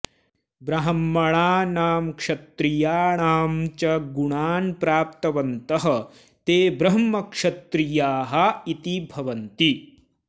ब्राह्मणानां क्षत्रियाणां च गुणान् प्राप्तवन्तः ते ब्रह्मक्षत्रियाः इति भवन्ति